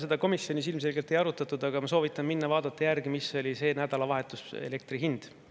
Seda komisjonis ilmselgelt ei arutatud, aga ma soovitan minna vaadata järgi, mis oli sel nädalavahetusel elektri hind.